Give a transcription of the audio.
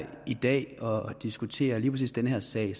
i dag og diskuterer lige præcis den her sag